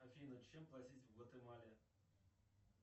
афина чем платить в гватемале